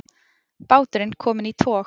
Báturinn kominn í tog